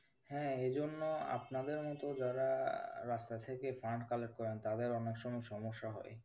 হ্যাঁ এজন্য আপনাদের মতো যারা রাস্তা থেকে fund collect করেন তাদের অনেক সময় সমস্যা হয়।